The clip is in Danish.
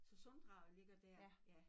Så Sunddraget ligger dér ja